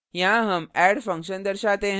यहाँ हम add function दर्शाते हैं